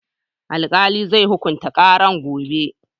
Alkali zai hukunta karan gobe